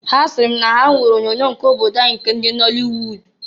Ha siri m na ha nwere onyoonyo nke obodo anyị nke ndị nọlịwud.